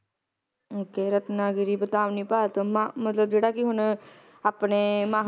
okay Ratnagiri Vadhavani Bharat ਮਤਲਬ ਜਿਹੜਾ ਕਿ ਹੁਣ ਆਪਣੇ